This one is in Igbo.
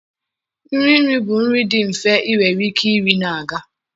Nri nri bụ nri dị mfe ị nwere ike iri na-aga.